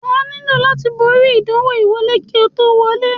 Wà á nílò láti borí ìdánwò ìwọlé kí o tó wọlé.